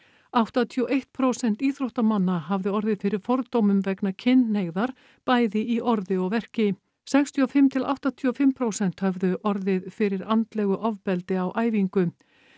áttatíu og eitt prósent íþróttamanna hafði orðið fyrir fordómum vegna kynhneigðar bæði í orði og verki sextíu og fimm til áttatíu og fimm prósent höfðu orðið fyrir andlegu ofbeldi á æfingu